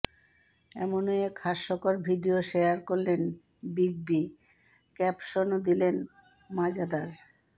এমনই এক হাস্যকর ভিডিও শেয়ার করলেন বিগ বি ক্যাপশনও দিলেন মজাদার